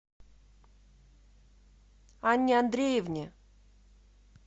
анне андреевне